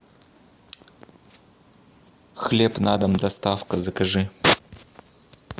хлеб на дом доставка закажи